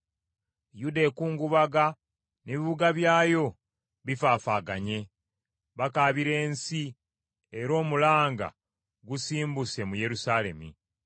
“Yuda ekungubaga n’ebibuga byayo bifaafaaganye, bakaabira ensi, era omulanga gusimbuse mu Yerusaalemi.